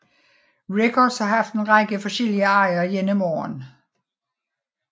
Records har haft en række forskellige ejere gennem årene